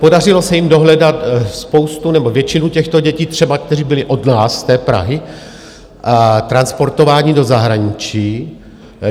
Podařilo se jim dohledat spoustu, nebo většinu těchto dětí, které třeba byly od nás z té Prahy transportovány do zahraničí.